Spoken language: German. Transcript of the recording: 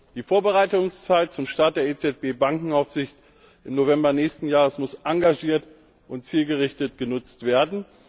Die Vorbereitungszeit zum Start der EZB Bankenaufsicht im November nächsten Jahres muss engagiert und zielgerichtet genutzt werden.